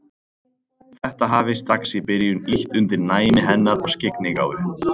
Þetta hafi strax í byrjun ýtt undir næmi hennar og skyggnigáfu.